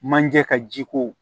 Manje ka ji ko